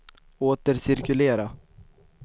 återcirkulera